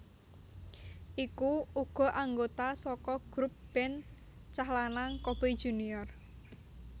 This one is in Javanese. Iku uga anggota saka grup band cah lanang Coboy Junior